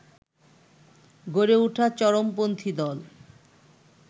গড়ে ওঠা চরমপন্থী দল